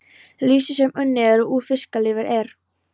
Lýsi sem unnið er úr fiskalifur er